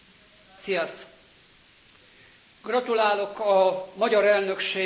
Gratulálok a magyar elnökség elmúlt hetekbeli tevékenységéhez.